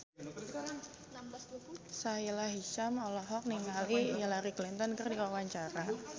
Sahila Hisyam olohok ningali Hillary Clinton keur diwawancara